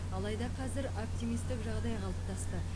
алайда қазір оптимистік жағдай қалыптасты